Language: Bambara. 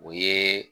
O ye